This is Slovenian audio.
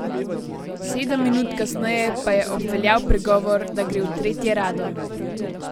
Sedem minut kasneje pa je obveljal pregovor, da gre v tretje rado.